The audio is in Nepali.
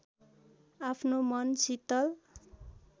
आफ्नो मन शीतल